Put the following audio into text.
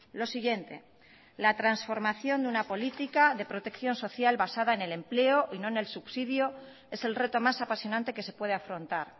lo siguiente la transformación de una política de protección social basada en el empleo y no en el subsidio es el reto más apasionante que se puede afrontar